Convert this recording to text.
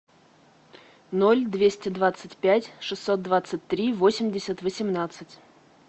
ноль двести двадцать пять шестьсот двадцать три восемьдесят восемнадцать